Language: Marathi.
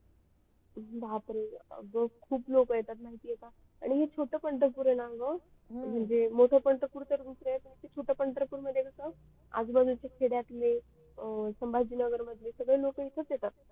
बापरे अग खूप लोक येतात माहिती आहे का आणि हे छोट पंढरपूर आहे न ग म्हणजे मोठ पंढरपूर तर दुसर आजू बाजूचे खेड्यातले संभाजीनगर मधले सगडे लोक इथच येतात